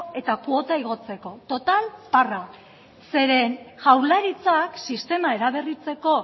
eta kuota igotzeko total parra zeren jaurlaritzak sistema eraberritzeko